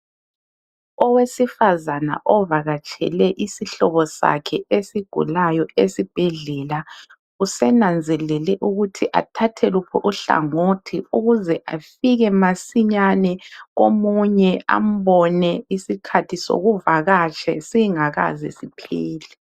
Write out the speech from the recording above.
Owesifazane ovakatshele isihlobo sakhe esigulayo esibhedlela usenanzelele ukuthi athathe luphi uhlangothi ukuze afike masinyane omunye ambone isikhathi sokuvakatsha singakaze siphele.